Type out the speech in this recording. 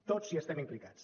tots hi estem implicats